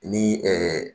Ni